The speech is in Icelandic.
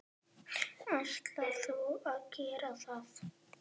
Ætlar þú að gera það?